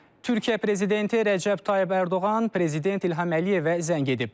Türkiyə prezidenti Rəcəb Tayyib Ərdoğan prezident İlham Əliyevə zəng edib.